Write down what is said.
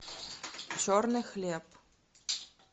черный хлеб